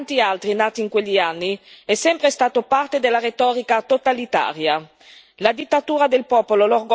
Il popolo in quella dittatura, come in tanti altri nati in quegli anni, è sempre stato parte della retorica totalitaria.